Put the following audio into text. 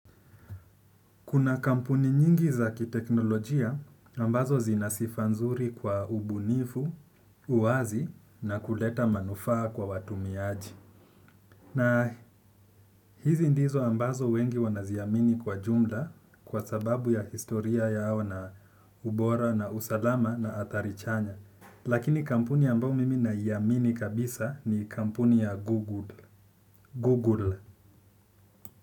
Kuna kampuni nyingi za kiteknolojia ambazo zina sifa nzuri kwa ubunifu, uwazi na kuleta manufaa kwa watu watumiaji. Na hizi ndizo ambazo wengi wanaziamini kwa jumla kwa sababu ya historia yao na ubora na usalama na athari chanya. Lakini kampuni ambayo mimi naiamini kabisa ni kampuni ya Google. Google.